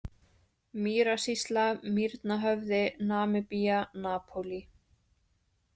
Mýrasýsla, Mýrnahöfði, Namibía, Napólí